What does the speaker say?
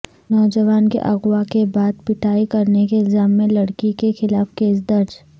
نوجوان کے اغوا کے بعد پٹائی کرنے کے الزام میں لڑکی کے خلاف کیس درج